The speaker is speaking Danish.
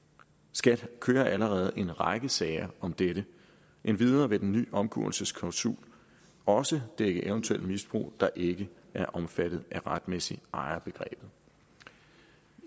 skat kører allerede en række sager om dette og endvidere vil den nye omgåelsesklausul også dække eventuel misbrug der ikke er omfattet af retmæssig ejer